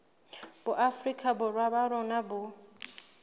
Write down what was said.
boafrika borwa ba rona bo